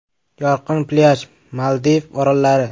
Yorqin plyaj, Maldiv orollari.